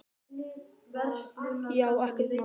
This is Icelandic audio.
Já, ekkert mál!